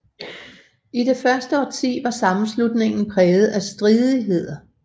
I det første årti var sammenslutningen præget af stridigheder